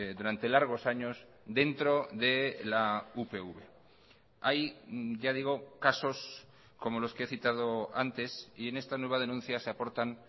durante largos años dentro de la upv hay ya digo casos como los que he citado antes y en esta nueva denuncia se aportan